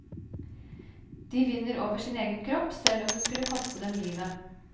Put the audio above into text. De vinner over sin egen kropp, selv om det skulle koste dem livet.